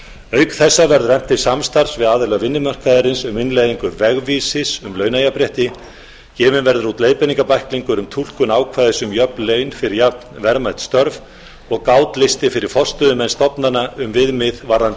auk þessa verður efnt til samstarfs við aðila vinnumarkaðarins um innleiðingu vegvísis um launajafnrétti gefinn verður út leiðbeiningabæklingur um túlkun ákvæðis um jöfn laun fyrir jafnverðmæt störf og gátlisti fyrir forstöðumenn stofnana um viðmið varðandi